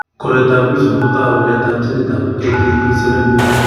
Koroitoab Wilson kotou waletab ginitab ATP7B.